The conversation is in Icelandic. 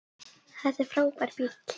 Þetta er frábær bíll.